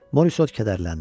Morisot kədərləndi.